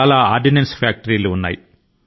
ordinance factory లు చాలా ఉన్నాయి